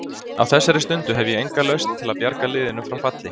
Á þessari stundu hef ég enga lausn til að bjarga liðinu frá falli.